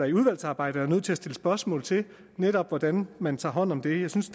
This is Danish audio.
i udvalgsarbejdet er nødt til at stille spørgsmål til netop hvordan man tager hånd om det jeg synes